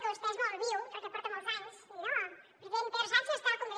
que vostè és molt viu perquè porta molts anys i diu no el president pedro sánchez està al congrés